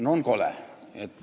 No on kole!